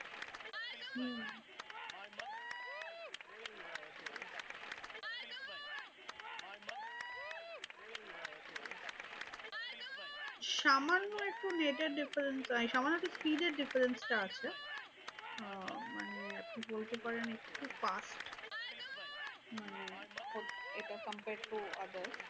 সামান্য একটু net এর difference এই সামান্য একটু speed এর difference টা আছে। আহ মানে আপনি বলতে পারেন একটু fast মানে এটা compare to other